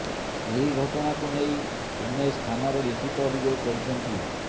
ଏହି ଘଟଣାକୁ ନେଇ ଉମେଶ ଥାନାରେ ଲିଖିତ ଅଭିଯୋଗ କରିଛନ୍ତି